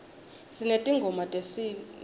sinetingoma tesinifu